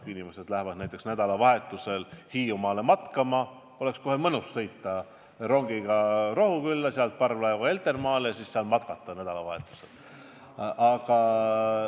Kui inimesed lähevad näiteks nädalavahetusel Hiiumaale matkama, oleks mõnus sõita rongiga Rohukülla, sealt parvlaevaga Heltermaale ja siis saarel mõni päev matkata.